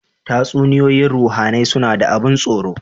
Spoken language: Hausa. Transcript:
Tatsuniyoyin ruhAnai suna da abun tsoro